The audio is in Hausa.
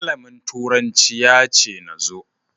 Malamin turanci ya ce na zo.